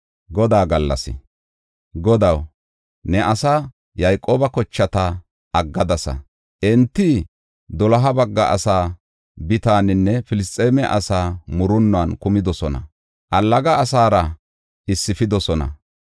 Godaw, ne asaa, Yayqooba kochata aggadasa. Enti doloha bagga asaa Bitaaninne Filisxeeme asaa murunnuwan kumidosona; allaga asaara issifidosona.